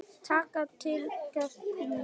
Takk takk, Gústa mín.